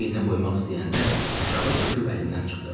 Əlimi çiyninə qoymaq istəyəndə aşağı çöküb əlimdən çıxdı.